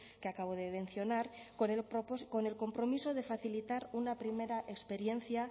que acabo de mencionar con el compromiso de facilitar una primera experiencia